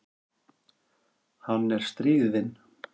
Hann er stríðinn.